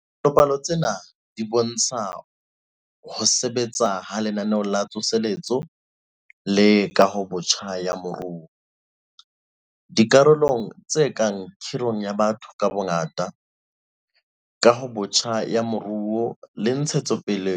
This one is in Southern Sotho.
Dipalopalo tsena di bo ntsha ho sebetsa ha Lenaneo la Tsoseletso le Kahobotjha ya Moruo - dikarolong tse kang kgirong ya batho ka bongata, kahong botjha ya moruo le ntshetso pele